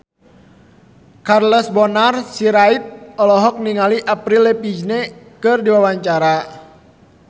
Charles Bonar Sirait olohok ningali Avril Lavigne keur diwawancara